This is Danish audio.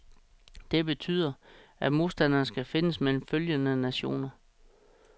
Det betyder, at modstanderen skal findes mellem følgende nationer.